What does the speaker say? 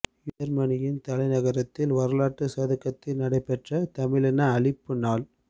யேர்மனியின் தலைநகரத்தின் வரலாற்றுச் சதுக்கத்தில் நடைபெற்ற தமிழின அழிப்பு நாள்